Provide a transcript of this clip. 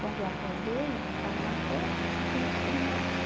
Quando eu acordei, eu estava na cama e meu filho morto.